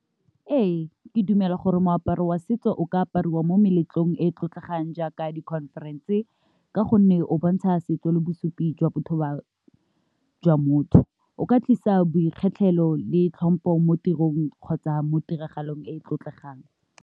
Ee, ke dumela gore moaparo wa setso o ka apariwa mo meletlong e e tlotlegang jaaka di conference-e, ka gonne o bontsha setso le bosupi jwa Jwa motho, o ka tlisa boikgetlhelo le tlhompo mo tirong kgotsa mo tiragalong e e tlotlegang.